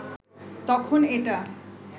তখন এটা